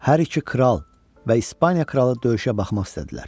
Hər iki kral və İspaniya kralı döyüşə baxmaq istədilər.